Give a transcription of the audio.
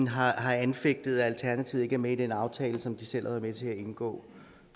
har anfægtet at alternativet ikke er med i den aftale som de selv har været med til at indgå